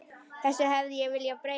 Þessu hefði ég viljað breyta.